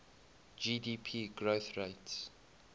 gdp growth rates